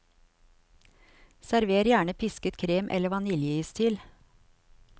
Server gjerne pisket krem eller vaniljeis til.